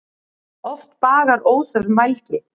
Oft bagar óþörf mælgi.